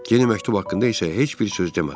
Yeni məktub haqqında isə heç bir söz demədilər.